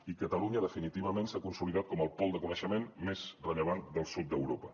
i catalunya definitivament s’ha consolidat com el pol de coneixement més rellevant del sud d’europa